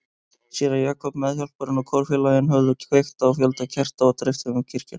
Séra Jakob, meðhjálparinn og kórfélagarnir höfðu kveikt á fjölda kerta og dreift þeim um kirkjuna.